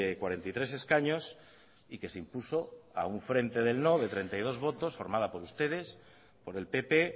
cuarenta y tres escaños y que se impuso a un frente del no de treinta y dos votos formada por ustedes por el pp